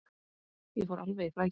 Ég fór alveg í flækju.